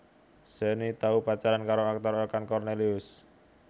Shenny tau pacaran karo aktor Okan Kornelius